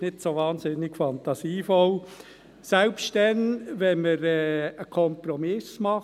Es ist nicht so wahnsinnig fantasievoll – selbst dann, wenn wir einen Kompromiss machen.